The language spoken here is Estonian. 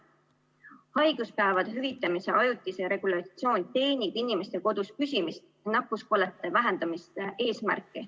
Haiguspäevade hüvitamise ajutine regulatsioon teenib inimeste kodus püsimise ja nakkuskollete vähendamise eesmärki.